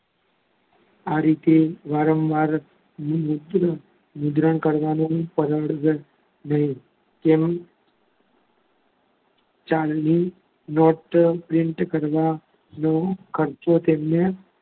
આ રીતે વારંવાર કરવાનો ખર્ચો બેંક કે ચલણી નોટો print કરવા નો ખર્ચો તેમને,